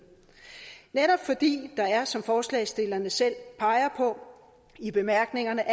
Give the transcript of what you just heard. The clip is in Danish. netop fordi der allerede er som forslagsstillerne selv peger på i bemærkningerne